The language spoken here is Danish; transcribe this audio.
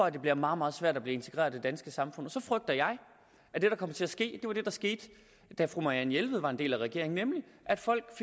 at det bliver meget meget svært at blive integreret i det danske samfund så frygter jeg at det der kommer til ske var det der skete da fru marianne jelved var en del af regeringen nemlig at folk